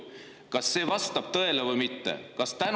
Kas see vastab tõele või mitte?